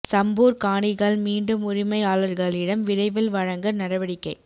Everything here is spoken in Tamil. சம்பூர் காணிகள் மீண்டும் உரிமையாளர்களிடம் விரைவில் வழங்க நடவடிக்கை